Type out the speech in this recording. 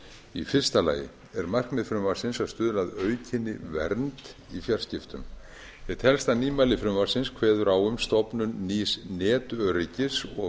í fyrsta lagi er markmið frumvarpsins að stuðla að aukinni vernd í fjarskiptum eitt helsta nýmæli frumvarpsins kveður á um stofnun nýs netöryggis og